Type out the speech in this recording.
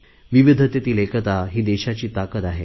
विविधतेतील एकता हीच देशाची ताकत आहे